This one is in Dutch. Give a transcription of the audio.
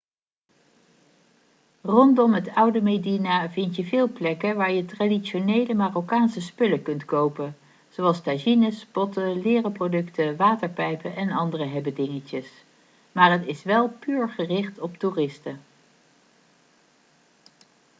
rondom het oude medina vind je veel plekken waar je traditionele marokkaanse spullen kunt kopen zoals tagines potten leren producten waterpijpen en andere hebbedingetjes maar het is wel puur gericht op toeristen